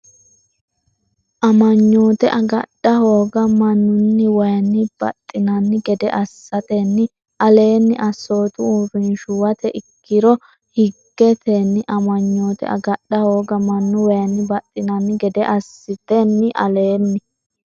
Amanyoote agadha hooga mannunniwayinni baxxinanni gede assatenni aleenni assootu uurrinshuwate ikkiro higgeten- Amanyoote agadha hooga mannunniwayinni baxxinanni gede assatenni aleenni.